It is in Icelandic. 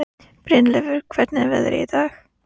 Brynleifur, hvernig er veðrið í dag?